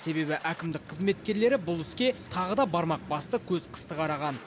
себебі әкімдік қызметкерлері бұл іске тағы да бармақ басты көз қысты қараған